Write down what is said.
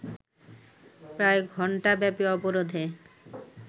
প্রায় ঘন্টাব্যাপী অবরোধে